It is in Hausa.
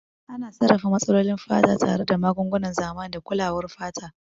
Ana sarrafa matsalolin fata tare da magungunan zamani da kulawar fata.